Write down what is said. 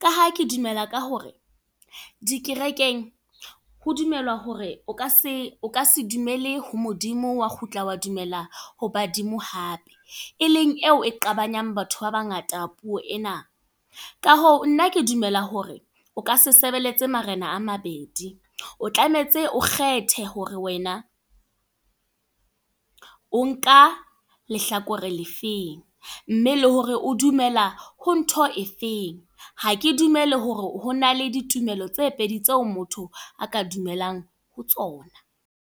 Ka ha ke dumela ka hore, dikerekeng, ho dumelwa hore o ka se o ka se dumele ho Modimo wa kgutla wa dumela ho badimo hape. E leng eo e qabanyang batho ba bangata puo ena. Ka hoo nna ke dumela hore o ka se sebeletse marena a mabedi. O tlametse o kgethe hore wena, o nka lehlakore le feng. Mme le hore o dumela ho ntho e feng. Ha ke dumele hore hona le ditumelo tse pedi tseo motho a ka dumelang ho tsona.